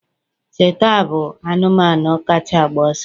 Cheetah bụ anụmanụ kacha agba ọsọ